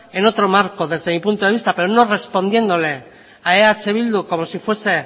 en otro marco desde mi punto de vista pero no respondiéndole a eh bildu como si fuese